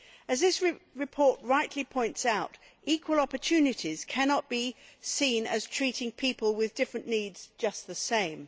As this report rightly points out, equal opportunities cannot be seen as treating people with different needs just the same.